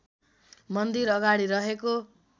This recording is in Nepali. मन्दिर अगाडि रहेको